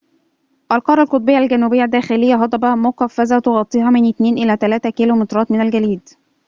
القارة القطبية الجنوبية الداخلية هضبة مقفرة تغطيها من 2 إلى 3 كيلومترات من الجليد